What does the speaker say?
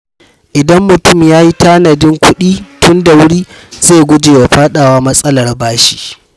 Idan mutum ya yi tanadin kuɗi tun da wuri, zai guje wa faɗawa matsalar bashi.